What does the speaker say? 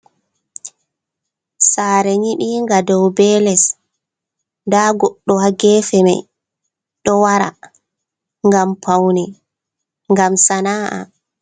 Sare nyibinga dow be les, da goɗɗo hagefe mai ɗo wara gam paune gam sana’a.